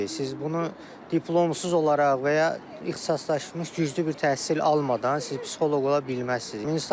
Siz bunu diplomsuz olaraq və ya ixtisaslaşmış, güclü bir təhsil almadan siz psixoloq ola bilməzsiniz.